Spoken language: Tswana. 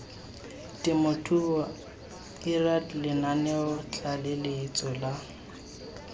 temothuo lrad lenaneo tlaleletso la